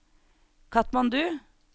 Katmandu